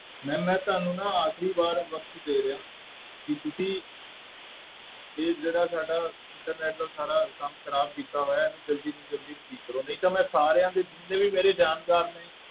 Ma'am ਮੈਂ ਤੁਹਾਨੂੰ ਨਾ ਆਖਰੀ ਵਾਰ ਵਕਤ ਦੇ ਰਿਹਾਂ ਕਿ ਤੁਸੀਂ ਇਹ ਜਿਹੜਾ ਸਾਡਾ internet ਦਾ ਸਾਰਾ ਕੰਮ ਖ਼ਰਾਬ ਕੀਤਾ ਹੋਇਆ ਹੈ, ਇਹਨੂੰ ਜ਼ਲਦੀ ਤੋਂ ਜ਼ਲਦੀ ਠੀਕ ਕਰੋ ਨਹੀਂ ਤਾਂ ਮੈਂ ਸਾਰਿਆਂ ਦੇ ਜਿੰਨੇ ਵੀ ਮੇਰੇ ਜਾਣਕਾਰ ਨੇ